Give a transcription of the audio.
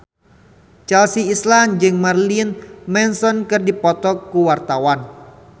Chelsea Islan jeung Marilyn Manson keur dipoto ku wartawan